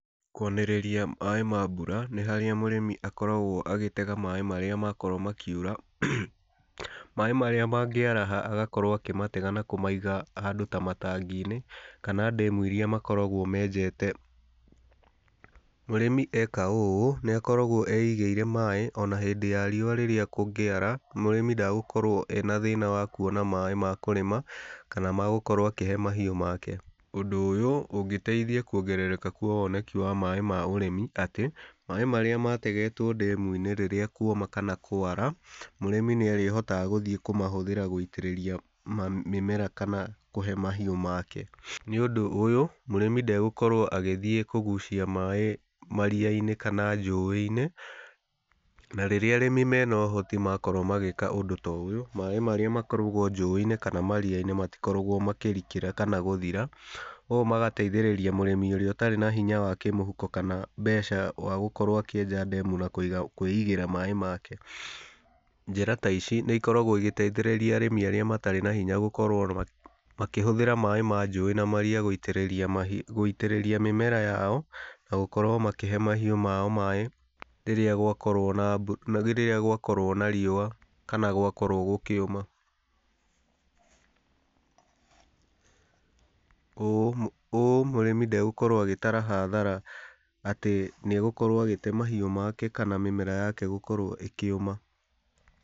Kwanĩrĩria maĩ ma mbura nĩ harĩa mũrĩmi akoragwo agĩtega maĩ maria makorwo makiura, maĩ marĩa mangĩaraha, agakorwo akĩmatega, na kũmaiga handũ ta matangi-inĩ, kana ndemu iria makoragwo menjete, mũrĩmi eka ũũ, nĩakoragwo eigĩire maĩ, ona hĩndĩ ya riũwa rĩrĩa kũngĩara mũrĩmi ndegũkorwo ena thĩna wa kuona maĩ makũrĩma, kana magũkorwo akĩhe mahiũ make, ũndũ ũyũ ũngĩteithia gwongerereka kwa woneki wa maĩ ma ũrĩmi atĩ, maĩ marĩa mategetwo ndemu-inĩ rĩrĩa kwoma kana kwara, mũrĩmi nĩ arĩhotaga gũthiĩ kũmahũthĩra gũitĩrĩria mĩmera kana kũhe mahiũ make, nĩ ũndũ ũyũ, mũrĩmi ndegũkorwo agĩthiĩ kũgucia maĩ mariya-inĩ, kana njũĩ-inĩ, na rĩria arĩmi menohoti makorwo magĩka ũndũ ta ũyũ, maĩ marĩa makoragwo njũĩ-inĩ, kana mariya-inĩ, matikoragwo makĩrikĩra, kana gũthira, ũũ magateithĩrĩria mũrĩmi ũrĩa ũtarĩ na hinya wa kĩmũhuko kana mbeca wa gũkorwo akĩenja ndemu na kũiga, kwĩigĩra maĩ make, njĩra taici nĩ ikoragwo igĩteithĩrĩria arĩmi arĩa matarĩ na hinya gũkorwo ma makĩhũthĩra maĩ manjũĩ na mariya gũitĩrĩria mahiũ mĩmera yao, na gũkorwo makĩhe mahiũ mao maĩ, rĩrĩa gwakorwo na mbu rĩrĩa gwakorwo na riũwa, kana gwakorwo gũkĩũma, ũũ ũũ mũrĩmi ndegũkorwo agĩtara hathara atĩ nĩ egũkorwo agĩte mahiũ make, kana mĩmera yake ĩkorwo ĩkĩũma.